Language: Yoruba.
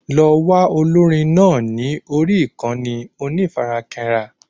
Lọ wá olórin náà ní orí ìkànnì onífarakínra